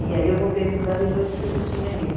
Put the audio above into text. E aí eu voltei a estudar depois que eu já tinha ele.